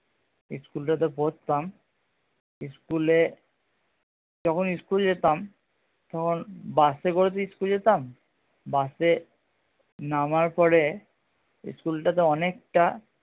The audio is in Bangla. school টা তে পড়তাম school এ যখন school যেতাম তখন বাস এ করে তো school যেতাম বাস এ নামার পরে school টা তে অনেকটা